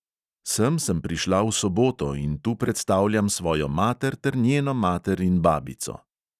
Sem sem prišla v soboto in tu predstavljam svojo mater ter njeno mater in babico.